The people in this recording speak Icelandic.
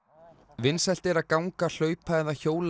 vinsælt er að ganga hlaupa eða hjóla